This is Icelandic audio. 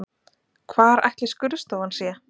Hvar ætli skurðstofan sé?